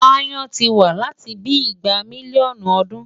Aáyán ti wà láti bíi igba mílíọ̀nù ọdún.